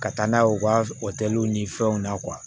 Ka taa n'a ye u ka o kɛliw ni fɛnw na